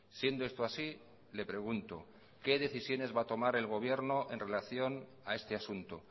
siendo esto así le pregunto qué decisiones va a tomar el gobierno en relación a este asunto